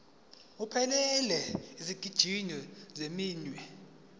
ephelele yezigxivizo zeminwe